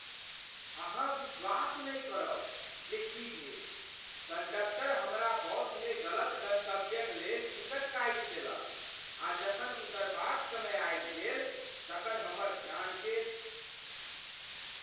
अहाँ विश्वास नहि करब जे की भेल! कंडक्टर हमरा बसमे गलत गंतव्यक लेल टिकट काइट देलक , आ जखन उतरबाक समय आबि गेल, तखन हमर ध्यान गेल !